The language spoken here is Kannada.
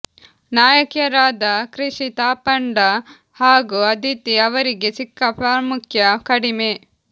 ನಾಯಕಿಯರಾದ ಕೃಷಿ ತಾಪಂಡ ಹಾಗೂ ಅದಿತಿ ಅವರಿಗೆ ಸಿಕ್ಕ ಪ್ರಾಮುಖ್ಯ ಕಡಿಮೆ